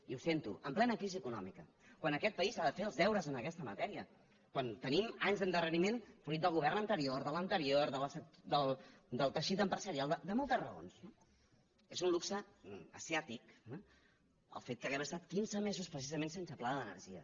i ho sento en plena crisi econòmica quan aquest país ha de fer els deures en aquesta matèria quan tenim anys d’endarreriment fruit del govern anterior de l’anterior del teixit empresarial de moltes raons no és un luxe asiàtic el fet que hàgim estat quinze mesos precisament sense pla de l’energia